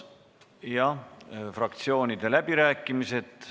Jah, fraktsioonide läbirääkimised.